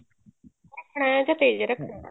ਰੱਖਣਾ ਹੈ ਕੇ ਤੇਜ਼ ਰੱਖਣਾ ਹੈ